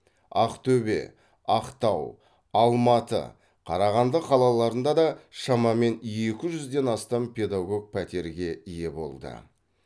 ақтөбе ақтау алматы қарағанды қалаларында да шамамен екі жүзден астам педагог пәтерге ие болды